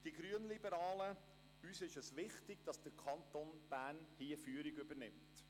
Den Grünliberalen ist wichtig, dass der Kanton Bern dabei die Führung übernimmt.